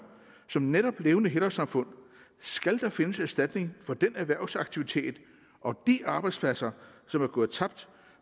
som netop levende helårssamfund skal der findes en erstatning for den erhvervsaktivitet og de arbejdspladser som er gået tabt